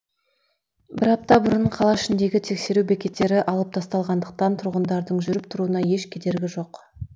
бір апта бұрын қала ішіндегі тексеру бекеттері алып тасталғандықтан тұрғындардың жүріп тұруына еш кедергі жоқ